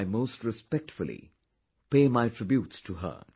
I most respectfully pay my tributes to her